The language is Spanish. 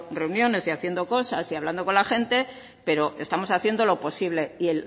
reuniones y haciendo cosas y hablando con la gente pero estamos haciendo lo posible pero